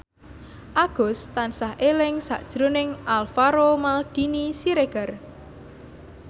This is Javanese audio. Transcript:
Agus tansah eling sakjroning Alvaro Maldini Siregar